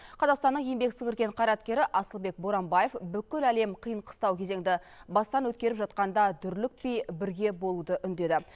қазақстанның еңбек сіңірген қайраткері асылбек боранбаев бүкіл әлем қиын қыстау кезеңді бастан өткеріп жатқанда дүрлікпей бірге болуды үндеді